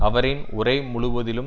அவரின் உரை முழுவதிலும்